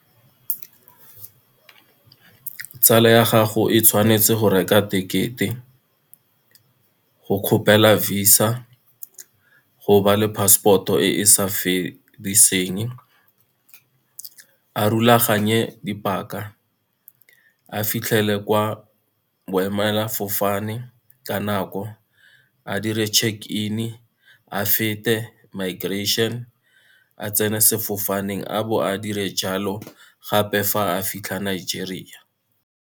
Tsala ya gago e tshwanetse go reka tekete, go kgopela visa, go ba le passport-o e e sa fediseng, a rulaganye dipaka, a fitlhele kwa boemelafofane ka nako, a dire check-in, a fete migration, a tsene sefofaneng, a bo a dire jalo gape fa a fitlha Nigeria.